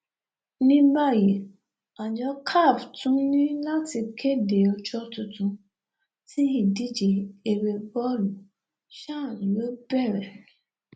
ní báyìí àjọ caf tún ní láti kéde ọjọ tuntun tí ìdíje eré bọọlù chan yóò bẹrẹ